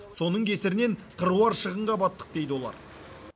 соның кесірінен қыруар шығынға баттық дейді олар